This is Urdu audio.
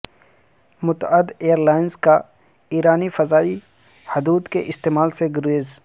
متعدد ایئر لائنز کا ایرانی فضائی حدود کے استعمال سے گریز